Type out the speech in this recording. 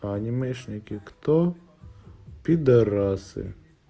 а анимешники кто пидарасы